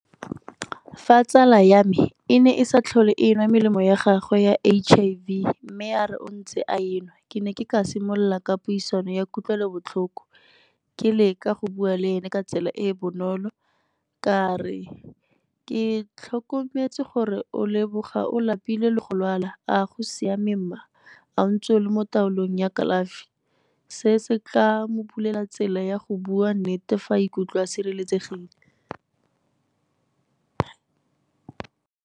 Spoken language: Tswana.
Fa tsala ya me e ne e sa tlhole e nwa melemo ya gagwe ya H_I_V mme a re o ntse a e nwa, ke ne ke ka simolola ka puisano ya kutlwelobotlhoko, ke leka go bua le ene ka tsela e e bonolo. Ka re l, ke tlhokometse gore o leboga o lapile le go lwala a go siame mma a o ntse o le mo taolong ya kalafi, se se tla mo bulela tsela ya go bua nnete fa a ikutlwe a sireletsegile.